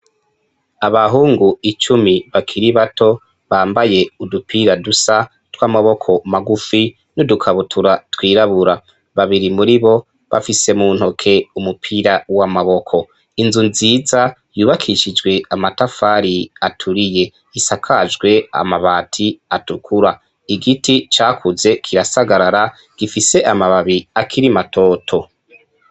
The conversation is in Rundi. Abahungu icumi bakiri bato bambaye udupira dusa tw'amaboko magufi n'udukabutura twirabura, babiri muri bo bafise mu ntoke umupira w'amaboko, inzu nziza yubakishijwe amatafari aturiye isakajwe amabati atukura igiti cakuze kirasagarara gifise amababi akiri matoto.